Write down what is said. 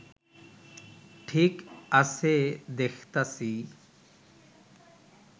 ঠিক আছে দেখতাছি